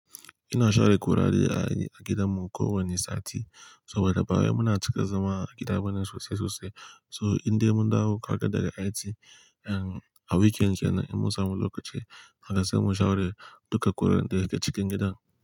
Ina share kurare a, a gidanmu kowane sati. So wadabbawa yana cika zama a gidanmu sosai sosai. So indai mun dawo aka daga IT, em, a weekend yana yi musam lokaci haka sai mu share duka guran da ke cikin gidan.